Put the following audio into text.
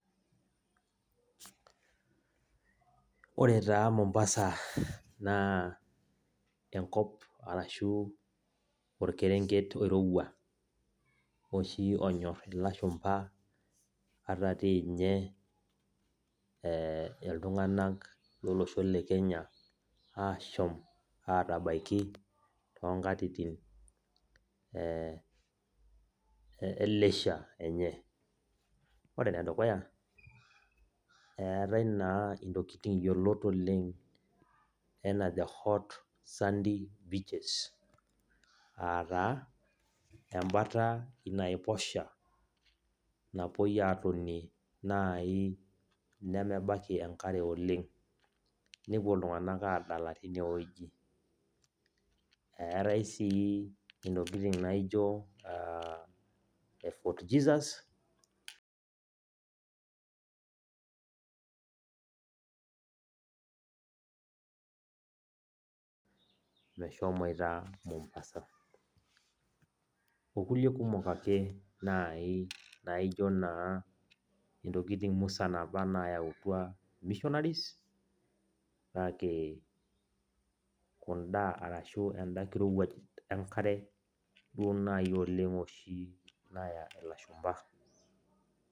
Ore taa Mombasa naa enkop arashu orkerenket oirowua oshi onyor ilashumpa ata tinye iltung'anak lolosho le Kenya, ashom atabaiki tonkatitin eh e leisure enye. Ore enedukuya, eetae naa intokiting yiolot oleng enaa the hot sandy beaches. Ataa, ebata naiposha napoi atonie nai nemebaki enkare oleng. Nepuo iltung'anak adala tinewueji. Eetae si intokiting naijo Fort Jesus, meshomoita Mombasa. Okulie kumok ake nai naijo naa intokiting musan apa nayautua missionaries, kake kunda arashu enda kirowuaj enkare duo nai oleng naya ilashumpa.